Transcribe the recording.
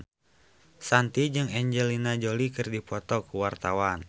Shanti jeung Angelina Jolie keur dipoto ku wartawan